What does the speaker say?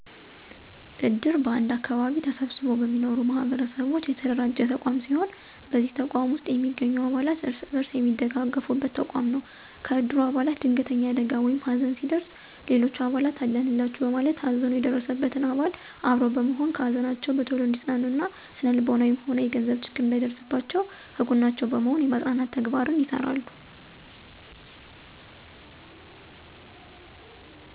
እድር በአንድ አከባቢ ተሰብስበው በሚኖሩ ማህበረሰቦች የተደራጀ ተቋም ሲሆን በዚህ ተቋም ውስጥ የሚገኙ አባላት እርስ በርስ የሚደጋገፉበት ተቋም ነው። ከእድሩ አባላት ድንገተኛ አደጋ ወይም ሀዘን ሲደርስ ሌሎች አባላት አለንላቹ በማለት ሀዘኑ የደረሰበትን አባል አብሮ በመሆን ከሀዘናቸው በቶሎ እንዲፅናኑ እና ስነልቦናዊም ሆነ የገንዘብ ችግር እንዳይደርስባቸው ከጎናቸው በመሆን የማፅናናት ተግባር ይሰራሉ።